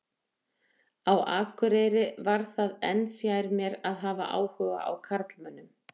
Á Akureyri varð það enn fjær mér að hafa áhuga á karlmönnum.